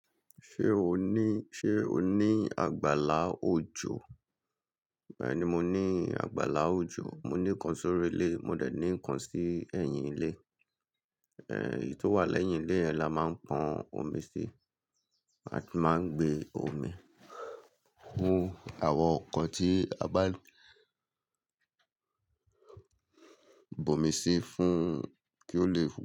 Ṣé o ní, ṣe o ní àgbàlá òjò? Bẹ́ẹ̀ni, mo ní àgbàlá òjò. Mo ní kan sórí ilé, mo dẹ̀ ní kan sí ẹ̀yìn ilé. Ẹ̀ẹ̀, èyí tó wà lẹ́yìn ilé yẹn la máa ń pọn omi sí. A tún máa ń gbé omi hun àwọn nǹkan tí a bá bu omi sí fún kí ó lè.